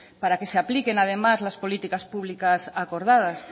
para que se apliquen además las políticas públicas acordadas